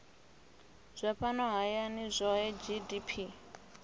zwa fhano hayani zwohe gdp